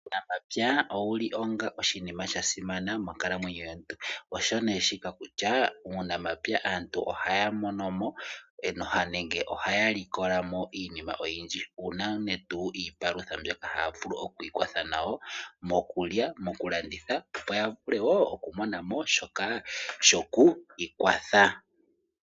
Uunamapya owuli onga oshinima shasimana monkalamwenyo yomuntu. Osho nee shika kutya muunamapya aantu ohaya monomo nenge tutye ohaya likolamo iinima oyindji. Uunene tuu iipalutha mbyoka haya vulu okwiikwatha nayo, mokulya, mokulanditha opo yavule wo okumonamo shoka shoku ikwatha.